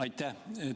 Aitäh!